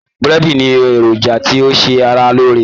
Búrẹ́dì ní èròjà tí ó ṣe ara lóore